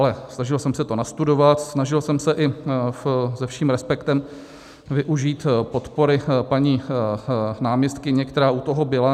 Ale snažil jsem se to nastudovat, snažil jsem se i se vším respektem využít podpory paní náměstkyně, která u toho byla.